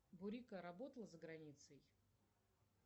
бурико работал за границей